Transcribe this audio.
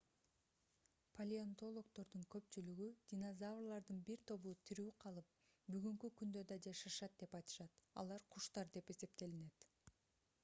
палеонтологдордун көпчүлүгү динозаврлардын бир тобу тирүү калып бүгүнкү күндө да жашашат деп айтышат алар куштар деп эсептелинет